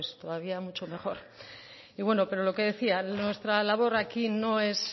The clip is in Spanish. todavía mucho mejor y bueno pero lo que decía nuestra labor aquí no es